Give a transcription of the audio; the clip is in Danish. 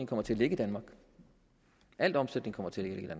kommer til at ligge i danmark al omsætning kommer til at